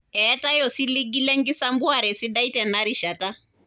Eetae osiligi le nkisampuare sidai tena rishata.